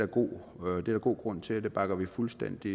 god grund til og det bakker vi fuldstændig